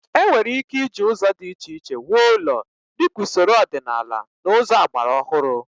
E nwere ike iji ụzọ dị iche iche wuo ụlọ, dịka usoro ọdịnaala na ụzọ agbara ọhụrụ.